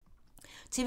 TV 2